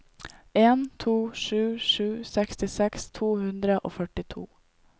en to sju sju sekstiseks to hundre og førtito